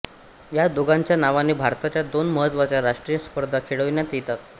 ह्या दोघांच्या नावाने भारताच्या दोन महत्त्वाच्या राष्ट्रीय स्पर्धा खेळविण्यात येतात